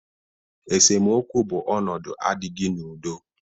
Esemokwu bụ ọnụdu adịghị n'udo.